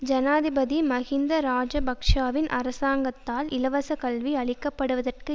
ஜனாதிபதி மஹிந்த இராஜபக்ஷவின் அரசாங்கத்தால் இலவசக் கல்வி அழிக்கப்படுவதற்கு